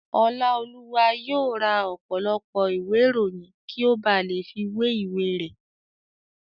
Ọláolúwa yóò ra ọ̀pọ̀lọpọ̀ ìwé ìròyìn kí ó ba lè fi wé ìwé rẹ̀